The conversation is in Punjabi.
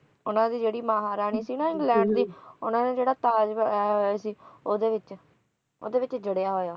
ਉਨ੍ਹਾਂ ਦੀ ਜਿਹੜੀ ਮਹਾਰਾਣੀ ਸੀ ਨਾ ਇੰਗਲੈਂਡ ਦੀ ਉਨ੍ਹਾਂ ਨੇ ਜਿਹੜਾ ਤਾਜ਼ ਬਣਾਇਆ ਸੀ ਓਹਦੇ ਵਿਚ ਓਹਦੇ ਵਿਚ ਜੜਿਆ ਹੋਇਆ